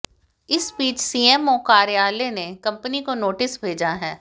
इस बीच सीएमओ कार्यालय ने कंपनी को नोटिस भेजा है